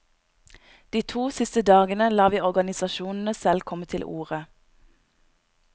De to siste dagene lar vi organisasjonene selv komme til orde.